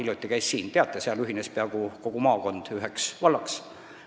Teate küll, et seal ühines peaaegu kogu maakond üheks vallaks.